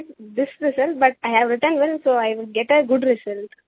expect this result but I have written well so I get a good result